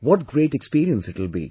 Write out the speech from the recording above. What great experience it will be